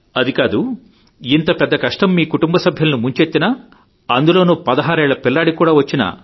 అది కాదు ఇంత పెద్ద కష్టం మీ కుటుంబ సభ్యులను ముంచెత్తినా అందులోనూ పదహారేళ్ల పిల్లాడికి కూడా వచ్చినా